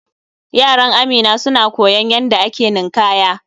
Yaran Amina suna koyon yanda da ake ninkanya.